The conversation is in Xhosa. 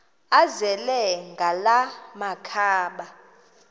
azele ngala makhaba